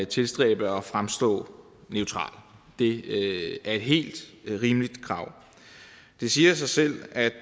tilstræbe at fremstå neutralt det er et helt rimeligt krav det siger sig selv at